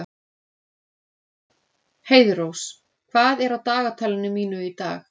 Heiðrós, hvað er á dagatalinu mínu í dag?